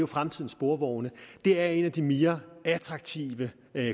fremtidens sporvogne er en af de mere attraktive